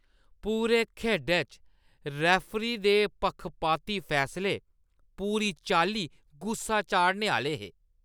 पूरे खेढै च रेफरी दे पक्खपाती फैसले पूरी चाल्ली गुस्सा चाढ़ने आह्‌ले हे।